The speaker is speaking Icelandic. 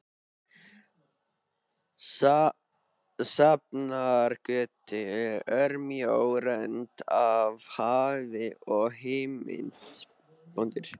Sjafnargötu, örmjó rönd af hafi og himinn.